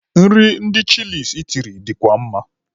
Nri ndị Chịlịs itiri dịkwa mma.